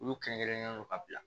Olu kɛrɛnkɛrɛnnen don ka bila